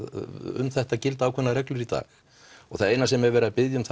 um þetta gilda ákveðnar reglur í dag það eina sem er verið að biðja um